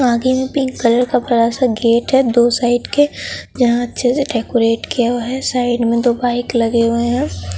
आगे में pink colour का बड़ा सा गेट है दो साइड के जहां अच्छे से डेकोरेट किया हुआ है साइड में दो बाइक लगे हुए है।